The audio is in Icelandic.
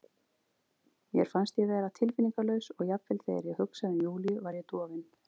Mér fannst ég vera tilfinningalaus og jafnvel þegar ég hugsaði um Júlíu var ég dofin.